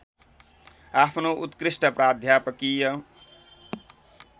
आफ्नो उत्कृष्ट प्राध्यापकीय